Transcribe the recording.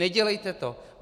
Nedělejte to.